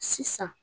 Sisan